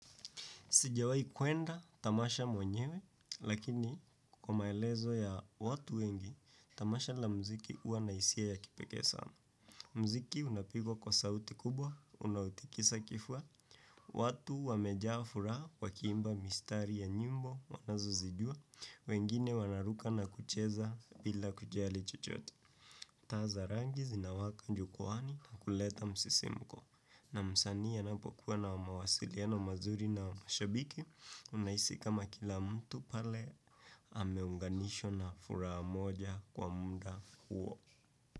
Sijawahi kwenda, tamasha mwenyewe, lakini kwa maelezo ya watu wengi, tamasha la muziki huwa na hisia ya kipekee sana. Muziki unapigwa kwa sauti kubwa, unautikisa kifua, watu wamejaa furaha, wakiimba mistari ya nyimbo wanazozijua, wengine wana ruka na kucheza bila kujali chochote. Taa za rangi zinawaka jukwaani na kuleta msisimko. Na msanii anapokuwa na mawasiliano mazuri na mashabiki unahisi kama kila mtu pale ameunganishwa na furaha moja kwa muda huo.